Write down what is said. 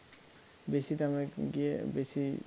বেশি দামে গিয়ে বেশি